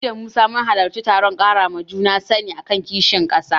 Ni da Musa mun halarci taron ƙarawa juna sani a kan kishin ƙasa.